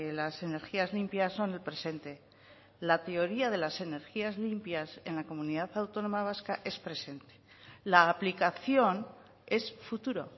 las energías limpias son el presente la teoría de las energías limpias en la comunidad autónoma vasca es presente la aplicación es futuro